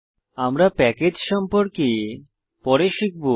আমরা প্যাকেজ সম্পর্কে পরে শিখব